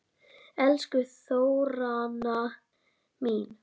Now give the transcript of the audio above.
Elsku Þóranna mín.